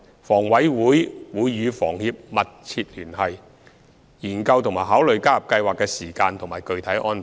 房委會會與房協密切聯繫，研究和考慮加入計劃的時間和具體安排。